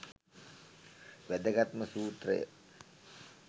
වැදගත්ම සූත්‍රය,